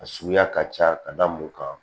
A suguya ka ca ka da mun kan